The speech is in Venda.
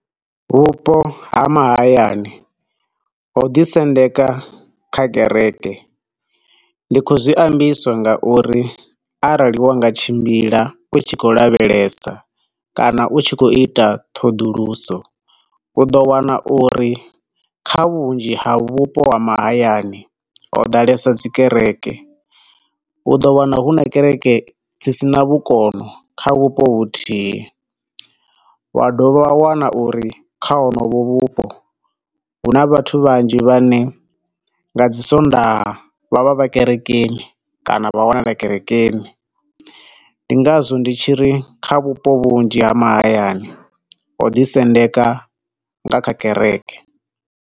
Vhupo ha mahayani ho ḓi sendeka kha kereke. Ndi khou zwi ambiswa nga uri arali wanga tshimbila u tshiko lavhelesa kana u tshi khou ita ṱhoḓuluso, u ḓo wana uri kha vhunzhi ha vhupo ha mahayani ho ḓalesa dzi kereke, u ḓo wana hu na kereke dzi sina vhukono kha vhupo vhuthihi, wa dovha wa wana uri kha hunovho vhupo hu na vhathu vhanzhi vhane nga dzi sondaha vha vha vha kerekeni kana vha wanala dzi kerekeni. Ndi ngazwo ndi tshiri kha vhupo vhunzhi ha mahayani ho ḓi sendeka kha kereke.